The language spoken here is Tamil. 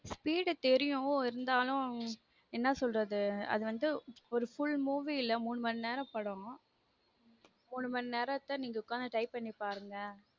speed தெரியும் இருந்தலும் என்ன சொல்றது அதுவந்து full movie ல மூனு மணி நேர படம் மூனு நேரத்த நீங்க உக்காந்து type பண்ணிப்பாருங்க